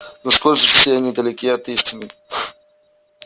но сколь же все они далеки от истины